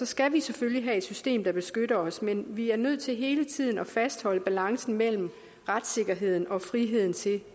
skal vi selvfølgelig have et system der beskytter os men vi er nødt til hele tiden at fastholde balancen mellem retssikkerheden og friheden til